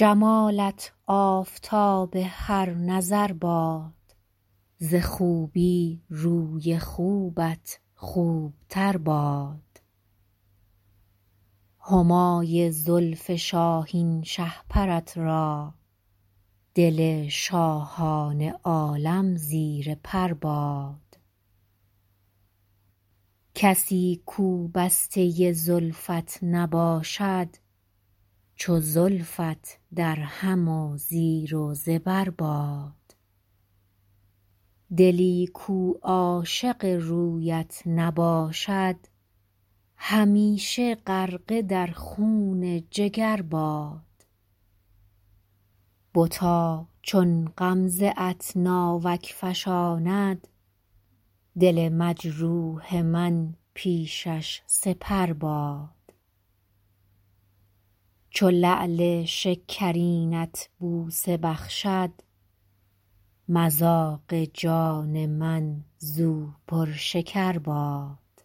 جمالت آفتاب هر نظر باد ز خوبی روی خوبت خوب تر باد همای زلف شاهین شهپرت را دل شاهان عالم زیر پر باد کسی کو بسته زلفت نباشد چو زلفت درهم و زیر و زبر باد دلی کو عاشق رویت نباشد همیشه غرقه در خون جگر باد بتا چون غمزه ات ناوک فشاند دل مجروح من پیشش سپر باد چو لعل شکرینت بوسه بخشد مذاق جان من زو پرشکر باد